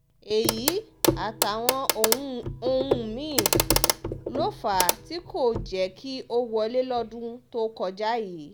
èyí àtàwọn ohun mí-ín ló fà á tí kò jẹ́ kí ó wọlé lọ́dún tó kọjá yìí